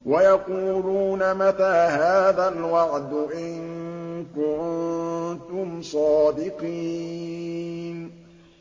وَيَقُولُونَ مَتَىٰ هَٰذَا الْوَعْدُ إِن كُنتُمْ صَادِقِينَ